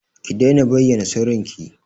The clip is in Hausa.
Ki daina bayyana sirrinki!